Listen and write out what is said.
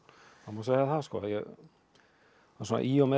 það má segja það svona í og með